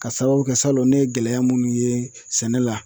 Ka sababu kɛ salon ne ye gɛlɛya minnu ye sɛnɛ la